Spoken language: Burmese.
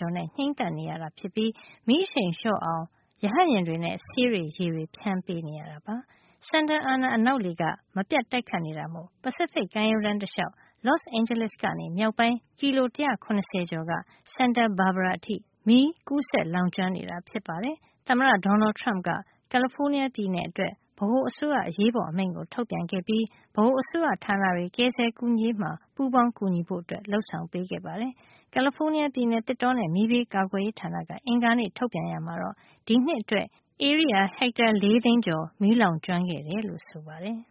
ကျော် နဲ့ ငြိမ်းသတ်နေရသလို၊ မီးအရှိန်လျော့အောင် ရဟတ်ယာဉ်တွေနဲ့ ဆေးတွေ ရေတွေ ဖြန်း နေရတာပါ။ Santa Ana အနောက်လေက မပြတ်တိုက်ခတ်နေတာမို့ ပစိဖိတ် ကမ်းရိုးတန်း တလျှောက် Los Angeles ကနေ မြောက်ပိုင်း ကီလို ၁၇၀ ကျော်က Santa Barbara အထိ မီးကူးစက် လောင်ကျွမ်းနေတာ ဖြစ်ပါတယ်။ သမ္မတ Donald Turmp က ကယ်လီဖိုးနီးယား ပြည်နယ်အတွက် ဗဟိုအစိုးရ အရေးပေါ် အမိန့် ထုတ်ပြန်ခဲ့ပြီး ဗဟိုအစိုးရ ဌာနတွေ ကယ်ဆယ် ကူညီရေးမှာ ပူးပေါင်း ကူညီဖို့ လုပ်ဆောင်ပေးခဲ့ပါတယ်။ ကယ်လီဖိုးနီးယား ပြည်နယ် သစ်တောနဲ့ မီးဘေးကာကွယ်ရေး ဌာနက အင်္ဂါနေ့က ထုတ်ပြန်ရာမှာတော့ ဒီနှစ်အတွက် ဧရိယာ ဟက်တာ ၄ သိန်း ကျော် မီးလောင်ကျွမ်းခဲ့ တယ်လို့ဆိုပါတယ်။